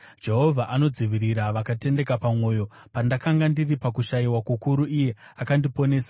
Jehovha anodzivirira vakatendeka pamwoyo; pandakanga ndiri pakushayiwa kukuru, iye akandiponesa.